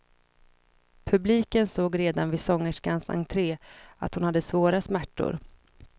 Publiken såg redan vid sångerskans entre att hon hade svåra smärtor.